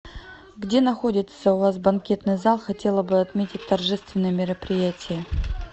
где находится у вас банкетный зал хотела бы отметить торжественное мероприятие